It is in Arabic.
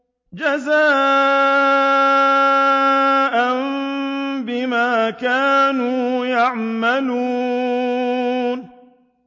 جَزَاءً بِمَا كَانُوا يَعْمَلُونَ